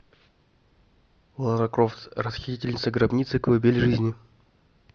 лара крофт расхитительница гробниц колыбель жизни